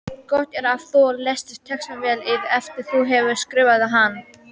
Gott er að þú lesir textann vel yfir eftir að þú hefur skrifað hann.